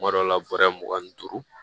Kuma dɔw la bɔrɛ mugan ni duuru